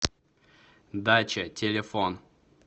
дача телефон